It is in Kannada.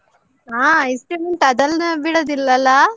ಹಾ ice cream ಉಂಟು. ಅದೆಲ್ಲಾ ಬಿಡುದಿಲ್ಲ ಅಲ್ಲಾ?